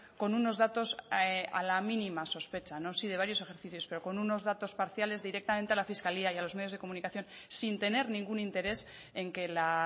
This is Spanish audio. con unos datos a la mínima sospecha no sí de varios ejercicios pero con unos datos parciales directamente a la fiscalía y a los medios de comunicación sin tener ningún interés en que la